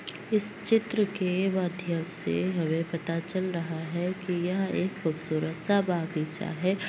इस चित्र के माध्यम से हमें पता चल रहा है की यह एक खुबसूरत सा बागीचा हैं।